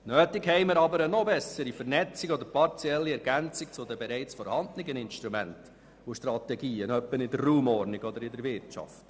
Notwendig ist aber eine noch bessere Vernetzung oder eine partielle Ergänzung der bereits vorhandenen Instrumente und Strategien in der Raumordnung oder in der Wirtschaft.